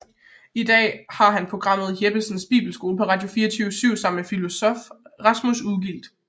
I dag har han programmet Jeppesens Bibelskole på Radio24syv sammen med filosof Rasmus Ugilt